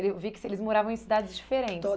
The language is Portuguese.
Eu vi que eles moravam em cidades diferentes